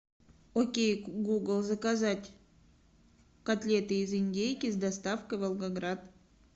окей гугл заказать котлеты из индейки с доставкой в волгоград